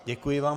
Děkuji vám.